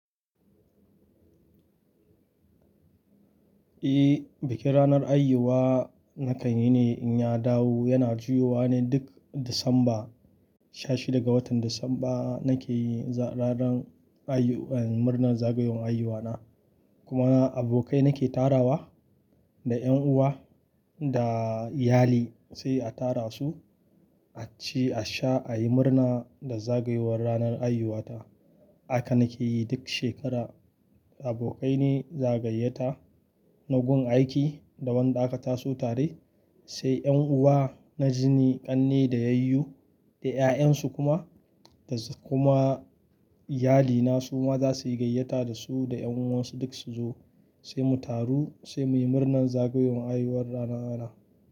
Eh, bikin ranar aihuwa na kan yi ne in ya dawo yana juyowa ne duk Disamba. Sha shida ga watan Disamba nake ranar aiyu-- murnar zagayowar haihuwa na. Kuma abokai nake tarawa da ƴan uwa da iyali sai a tara su, a ci, a sha, a yi murna da zagayowar ranar aihuwa ta. Haka nake yi duk shekara. Abokai ne za'a gayyata na gun aiki da wanda aka taso tare. Sai ƴan uwa na jini ƙanne da yayyu da ƴaƴansu kuma da kuma iyalina su ma za su yi gayyata da su da ƴan uwansu duk su zo sai mu taru sai muyi murnar zagayowar haihuwar rana rana.